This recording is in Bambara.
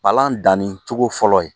Palan dannicogo fɔlɔ ye